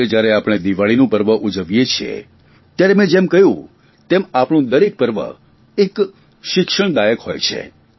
આજે જયારે આપણે દિવાળીનું પર્વ ઉજવીએ છીએ ત્યારે મે જેમ કહ્યું તેમ આપણું દરેક પર્વ એક શિક્ષણદાયક હોય છે